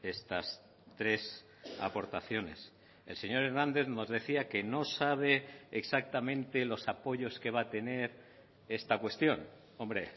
estas tres aportaciones el señor hernández nos decía que no sabe exactamente los apoyos que va a tener esta cuestión hombre